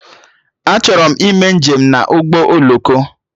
Achọrọ m ime njem na ụgbọ oloko